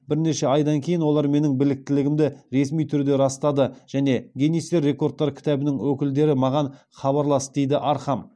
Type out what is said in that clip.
бірнеше айдан кейін олар менің біліктілігімді ресми түрде растады және гиннестер рекордтар кітабының өкілдері маған хабарласты дейді архам